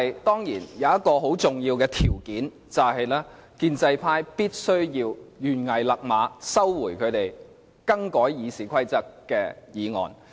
當然，有一個很重要的條件，就是建制派必須懸崖勒馬，收回他們修改《議事規則》的議案。